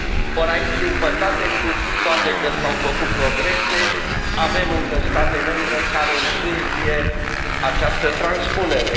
or aici, din păcate, cu toate că s au făcut progrese, avem încă state membre care întârzie această transpunere.